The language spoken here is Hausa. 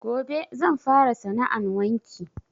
Gobe zan fara sana 'an wanki